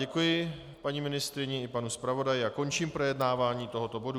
Děkuji paní ministryni i panu zpravodaji a končím projednávání tohoto bodu.